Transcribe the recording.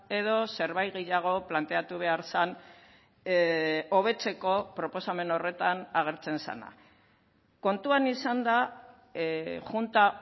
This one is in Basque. edo zerbait gehiago planteatu behar zen hobetzeko proposamen horretan agertzen zena kontuan izanda junta